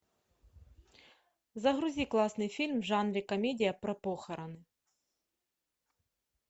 загрузи классный фильм в жанре комедия про похороны